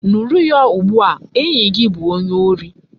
Nuru ya ugbua! enyi gi bu onye ori